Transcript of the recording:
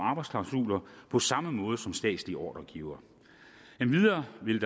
arbejdsklausuler på samme måde som statslige ordregivere endvidere vil